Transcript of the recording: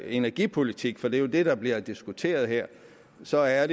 energipolitik for det er jo det der bliver diskuteret her så er